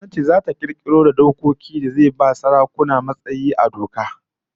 Gwamnati zata kirkiro da dokoki da zai ba sarakuna matsayi na doka a kundin kasa